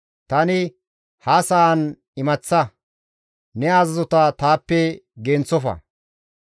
Tani ha sa7an imaththa; ne azazota taappe genththofa.